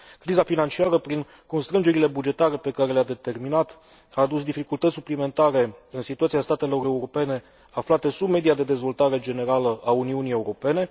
Criza financiară, prin constrângerile bugetare pe care le a determinat, a adus dificultăți suplimentare în situația statelor europene aflate sub media de dezvoltare generală a Uniunii Europene.